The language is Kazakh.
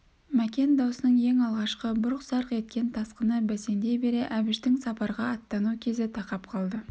мәкен дауының ең алғашқы бұрқ-сарқ еткен тасқыны бәсеңдей бере әбіштің сапарға аттану кезі тақап қалды